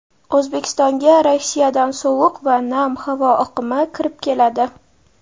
O‘zbekistonga Rossiyadan sovuq va nam havo oqimi kirib keladi.